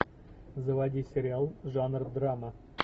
заводи сериал жанр драма